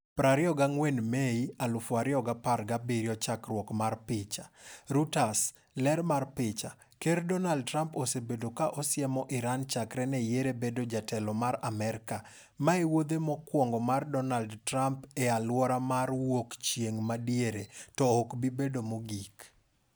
24 Mei 2017 Chakruok mar picha, Reuters .Ler mar picha, Ker Donald Trump osebedo ka osiemo Iran chakre ne yiere bedo jatelo mar Amerka. Ma e wuodhe mokwongo mar Donald Trumpe e aluora mar wuok chieng' madiere to ok obibedo mogik.